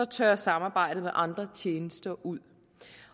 tørrer samarbejdet med andre tjenester ud